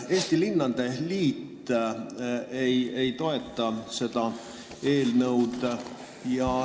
Eesti Linnade Liit ei toeta seda eelnõu.